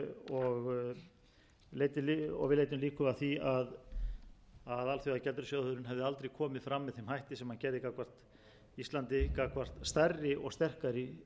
og við leiddum líkur að því að alþjóðagjaldeyrissjóðurinn hefði aldrei komið fram með þeim hætti sem hann gerði gagnvart íslandi gagnvart stærri og sterkari